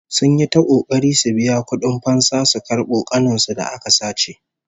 Sun yi ta kokari su biya kudin fansa su karbo ƙanin su da aka sace